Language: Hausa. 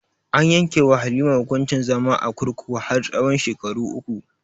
An yanke wa halima hukuncin zama a kurkuku har tsahon shekaru uku